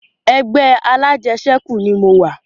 Ẹgbẹ́ alajẹsẹ́kù ni mo wà